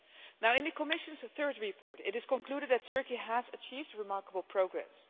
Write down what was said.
Now in the Commission's third report it is concluded that Turkey has achieved remarkable progress.